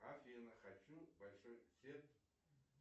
афина хочу большой сет